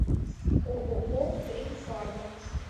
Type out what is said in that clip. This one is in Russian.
ооо примфарма